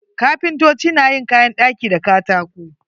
Kapintoci na yin kayan ɗaki da katako.